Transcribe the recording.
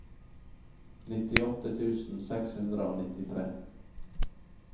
nittiåtte tusen seks hundre og nittitre